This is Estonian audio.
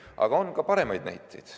Aga on ka paremaid näiteid.